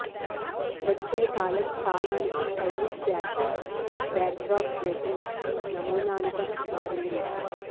వెచ్చని కాలం కాలానికి స్టైలిష్ ఫ్యాషన్ బ్యాక్డ్రాప్ లేకుండా నమూనాలుగా మారింది